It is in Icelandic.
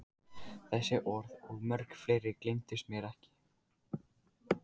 Þessi orð og mörg fleiri gleymdust mér ekki.